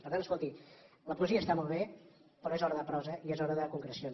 per tant escolti la poesia està molt bé però és hora de prosa i és hora de concrecions